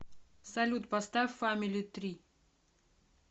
салют поставь фамили три